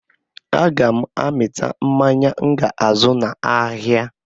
Aga m amịta mmanya m ga-azụ n'ahịa